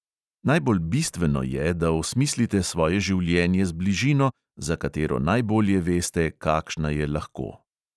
Najbolj bistveno je, da osmislite svoje življenje z bližino, za katero najbolje veste, kakšna je lahko.